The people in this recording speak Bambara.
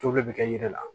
To bɛɛ bɛ kɛ ji la